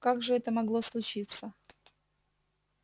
как же это могло случиться